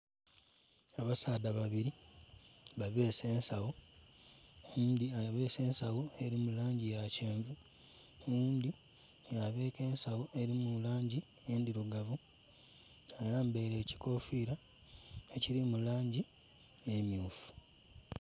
Abasaadha babiri ba bese ensagho oghundhi abese ensagho eri mu langi ya kyenvu oghundi ya beka esagho eri mu langi endhirugavu ayambaire ekikofira ekiri mulangi emyufu.